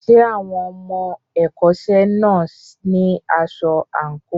Ṣé àwọn ọmọ ẹ̀kọ́ṣẹ́ náà ní aṣọ àǹkóò?